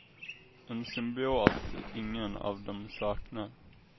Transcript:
En symbios ingen av dem saknar.